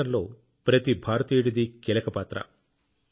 ఈ పోరాటంలో ప్రతి భారతీయుడిది కీలక పాత్ర